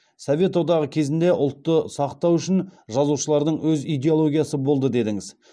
совет одағы кезінде ұлтты сақтау үшін жазушылардың өз идеологиясы болды дедіңіз